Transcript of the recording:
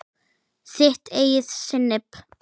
Þitt eigið sinnep!